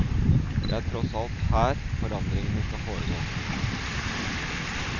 Det er tross alt her forandringene skal foregå.